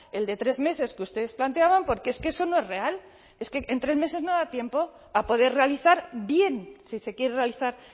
el de tres meses que ustedes planteaban porque es que eso no es real es que en tres meses no da tiempo a poder realizar bien si se quiere realizar